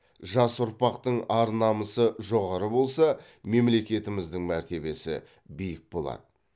жас ұрпақтың ар намысы жоғары болса мемлекетіміздің мәртебесі биік болады